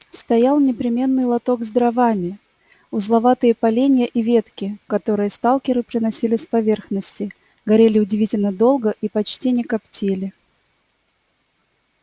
стоял непременный лоток с дровами узловатые поленья и ветки которые сталкеры приносили с поверхности горели удивительно долго и почти не коптили